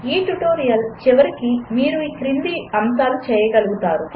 ఈ ట్యుటోరియల్ చరమాంకానికి మీరు ఈ క్రిందివి చేయగలుగుతారు 1